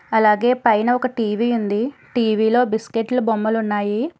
అలాగే పైన ఒక టీ_వీ ఉంది టీ_వీ లో బిస్కెట్లు బొమ్మలు ఉన్నాయి.